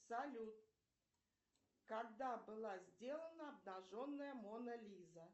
салют когда была сделана обнаженная мона лиза